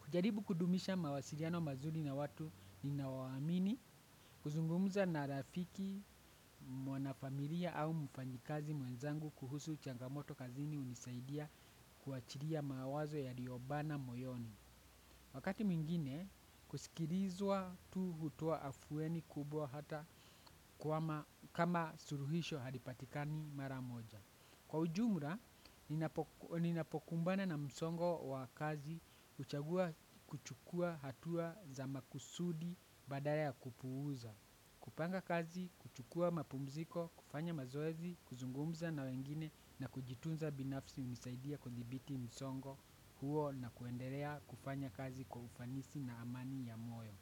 kujaribu kudumisha mawasiriano mazuri na watu ninaowaamini kuzungumuza na rafiki mwanafamilia au mfanyikazi mwenzangu kuhusu changamoto kazini hunisaidia kuachiria mawazo yario bana moyoni. Wakati mwingine, kusikilizwa tu hutoa afueni kubwa hata kama suruhisho halipatikani mara moja. Kwa ujumra, ninapokumbana na msongo wa kazi, huchagua kuchukua hatua za makusudi baada ya kupuuza. Kupanga kazi, kuchukua mapumziko, kufanya mazoezi, kuzungumza na wengine na kujitunza binafsi hunisaidia kudhibiti msongo huo na kuenderea kufanya kazi kwa ufanisi na amani ya moyo.